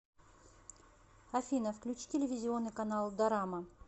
афина включи телевизионный канал дорама